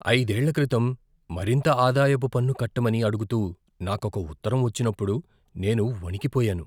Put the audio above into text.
ఐదేళ్ల క్రితం మరింత ఆదాయపు పన్ను కట్టమని అడుగుతూ నాకొక ఉత్తరం వచ్చినప్పుడు నేను వణికిపోయాను.